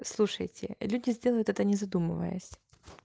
слушайте люди сделают это не задумываясь